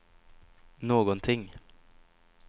någonting